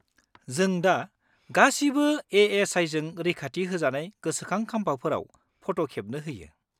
-जों दा गासिबो ए.एस.आइ.जों रैखाथि होजानाय गोसोखां खाम्फाफोराव फट' खेबनो होयो।